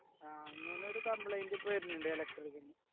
ആ അങ്ങനെ ഒരു complaint ഇപ്പൊ വര്ന്ന്ണ്ട് electric നു